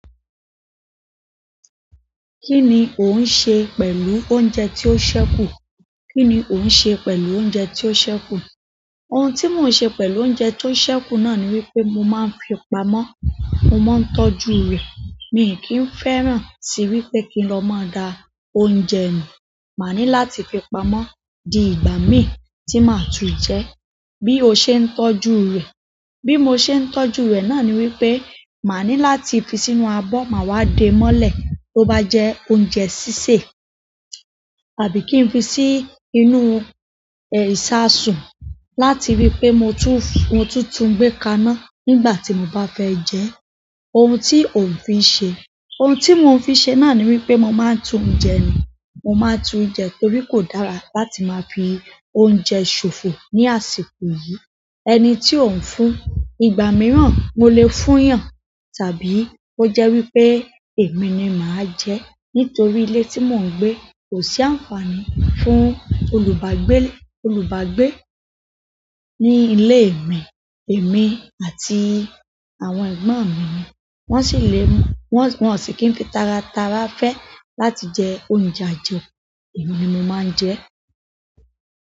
Kí ni òun ń ṣe pẹ̀lú oúnjẹ tí ó ṣẹ́kù? Kí ni ò ń ṣe pẹ̀lú oúnjẹ tí ó ṣẹ́kù? Ohun tí mò ń ṣe pẹ̀lú oúnjẹ tó ṣẹ́kù náà ni wípé mò máa ń fi pamọ́. Mò máa ń tọ́jú rẹ̀. Mi kìí fẹ́ràn sí wípé kí n lọ máa da oúnjẹ nu. Màá ní láti fi pamọ́ di ìgbà mii tí màá tún jẹ. Bí ó ṣe ń tọ́jú rẹ̀, bí mo ṣe ń tọ́jú náà ni wípé, màá ní láti fi sínú abọ́ màá wá dé mọ́lẹ̀ tó bá jẹ oúnjẹ sísè. Àbí kí n fi sí inú, ìṣasùn láti rí i pé, mo tún túń gbé kaná nígbà tí mo bá fẹ́ jẹ. Ohun tí ò ń fi ṣe, ohun tí mò ń fi ṣe náà ni wípé mo máa ń tun jẹ mi. Mo máa tun jẹ torí kò dára láti máa fi oúnjẹ ṣòfò ní àsìkò yìí. Ẹni tí ò ń fún, ìgbà mìíràn mò lè fún eeyàn tàbí kó jẹ́ wípé èmi ni màá jẹ. Nítorí ilé tí mò ń gbé kò sí àǹfààní fún olùbágbé, olùbágbé ní ilé mi. Èmi àti àwọn ẹ̀gbọ́n mi wọ́n sì lè, wọ́n sì kì n fi taratara fẹ́ láti jẹ oúnjẹ àjeku. Èmi ni mo máa ń jẹ ẹ́.